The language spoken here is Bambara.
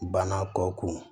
Bana kɔ kun